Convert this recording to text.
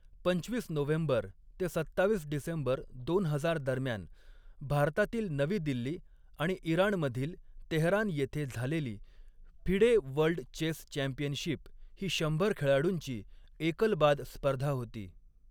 पंचवीस नोव्हेंबर ते सत्तावीस डिसेंबर दोन हजार दरम्यान, भारतातील नवी दिल्ली आणि इराण मधील तेहरान येथे झालेली फिडे वर्ल्ड चेस चॅम्पियनशिप ही शंभर खेळाडूंची एकल बाद स्पर्धा होती.